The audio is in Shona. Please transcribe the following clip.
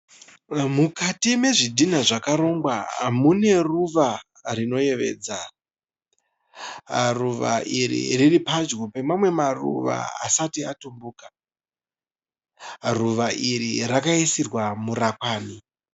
Mukati mwezvidhona zvakarongwa mune ruva rinoyevedza. Ruva iri riripadyo pamamwe maruva asati atumbuka. Ruva iri rakaisirwa murakwani